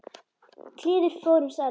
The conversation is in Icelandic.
kliður fór um salinn.